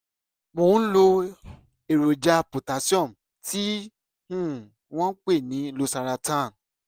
mo ń lo èròjà potassium tí um wọ́n ń pè ní losaratan